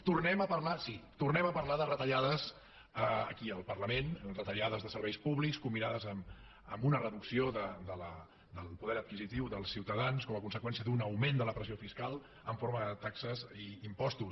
tornem a parlar sí tornem a parlar de retallades aquí al parlament retallades de serveis públics combinades amb una reducció del poder adquisitiu dels ciutadans com a conseqüència d’un augment de la pressió fiscal en forma de taxes i impostos